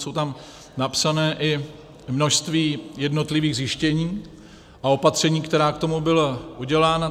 Jsou tam napsaná i množství jednotlivých zjištění a opatření, která k tomu byla udělána.